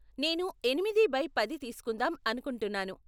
నేను ఎనిమిది బై పది తీస్కుందాం అనుకుంటున్నాను.